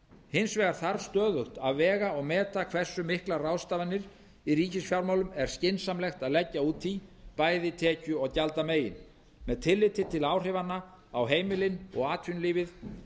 hins vegar þarf stöðugt að vega og meta hversu miklar ráðstafanir í ríkisfjármálum er skynsamlegt að leggja út í bæði tekju og gjaldamegin með tilliti til áhrifanna á heimilin og atvinnulífið